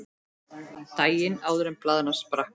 Daginn áður en blaðran sprakk.